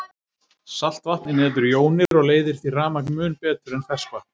Saltvatn inniheldur jónir og leiðir því rafmagn mun betur en ferskvatn.